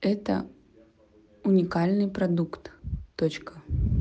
это уникальный продукт точка